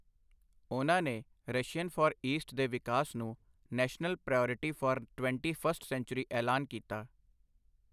ਉਨ੍ਹਾਂ ਨੇ Russian Far East ਦੇ ਵਿਕਾਸ ਨੂੰ national priority for twenty first century ਐਲਾਨ ਕੀਤਾ ।